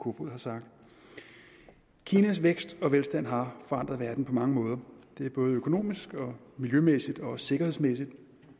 kofod har sagt kinas vækst og velstand har forandret verden på mange måder det er både økonomisk miljømæssigt og sikkerhedsmæssigt